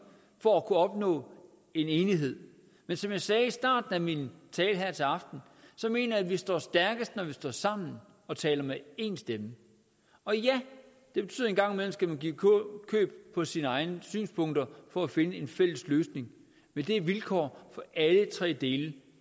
for at kunne opnå en enighed men som jeg sagde i starten af min tale her til aften mener jeg vi står stærkest når vi står sammen og taler med én stemme og ja det betyder en gang man skal give køb på sine egne synspunkter for at finde en fælles løsning men det er vilkår for alle tre dele